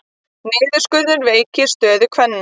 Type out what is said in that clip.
Niðurskurður veikir stöðu kvenna